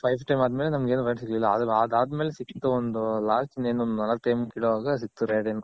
Five Times ಆದ್ಮೇಲೆ ನಮಗೇನು Rate ಸಿಗ್ಲಿಲ್ಲ ಆದರು ಅದದ್ಮೇಲೆ ಸಿಕ್ತು ಒಂದು last ಇನೇನ್ ನಾಲಕ್ time ಕಿಲೋವಾಗ ಸಿಕ್ತು rate .